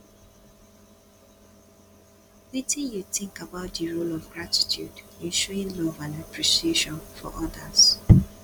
wetin you think about di role of gratitude in showing love and appreciation for odas